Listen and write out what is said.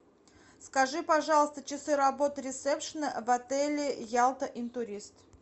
скажи пожалуйста часы работы ресепшена в отеле ялта интурист